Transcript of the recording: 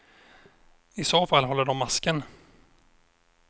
I så fall håller de masken.